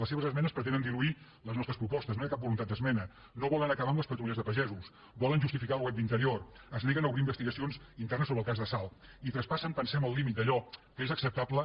les seves esmenes pretenen diluir les nostres propostes no hi ha cap voluntat d’esmena no volen acabar amb les patrulles de pagesos volen justificar el web d’interior es neguen a obrir investigacions internes sobre el cas de salt i traspassen ho pensem el límit d’allò que és acceptable